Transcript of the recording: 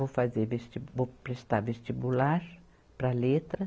Vou fazer vestibu, vou prestar vestibular para letras.